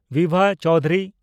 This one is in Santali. ᱵᱤᱵᱷᱟ ᱪᱳᱣᱫᱷᱩᱨᱤ